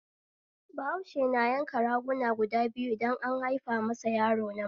Bahause na yanka raguna guda biyu idan an haifa masa yaro namiji